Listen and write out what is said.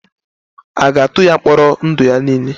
A ga-atụ ya mkpọrọ ndụ ya niile?